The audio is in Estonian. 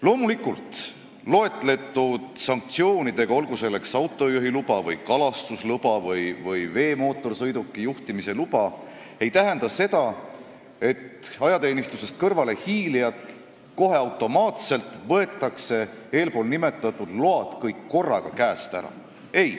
Loomulikult ei tähenda loetletud sanktsioonid, olgu selleks autojuhiloa või kalastusloa või veemootorsõiduki juhtimise loa äravõtmine seda, et ajateenistusest kõrvalehiilijalt kohe automaatselt kõik need load korraga ära võetakse.